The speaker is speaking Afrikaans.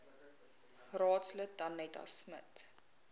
raadslid danetta smit